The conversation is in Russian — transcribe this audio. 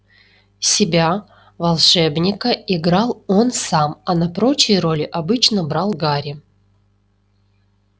себя волшебника играл он сам а на прочие роли обычно брал гарри